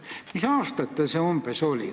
Mis aastatel see umbes oli?